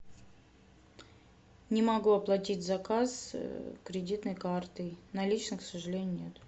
не могу оплатить заказ кредитной картой наличных к сожалению нет